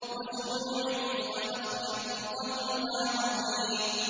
وَزُرُوعٍ وَنَخْلٍ طَلْعُهَا هَضِيمٌ